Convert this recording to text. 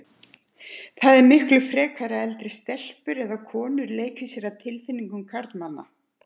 Það er miklu frekar að eldri stelpur eða konur leiki sér að tilfinningum karlmanna.